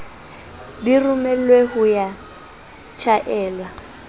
di romelwe ho ya tjhaelwa